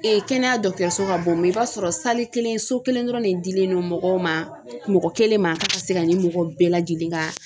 kɛnɛya so ka bon i b'a sɔrɔ kelen so kelen dɔrɔn de dilen no mɔgɔw ma mɔgɔ kelen ma k'a ka se ka nin mɔgɔ bɛɛ lajɛlen ka